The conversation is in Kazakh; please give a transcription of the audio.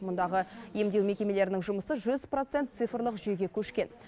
мұндағы емдеу мекемелерінің жұмысы жүз процент цифрлық жүйеге көшкен